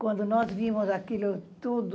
Quando nós vimos aquilo tudo,